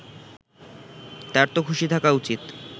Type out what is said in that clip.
তারতো খুশি থাকা উচিত